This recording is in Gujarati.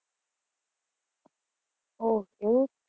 Okay.